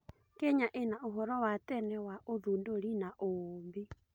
Kenya ĩna ũhoro wa tene wa ũthundũri na ũũmbi.